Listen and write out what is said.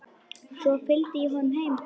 Svo fylgdi ég honum heim.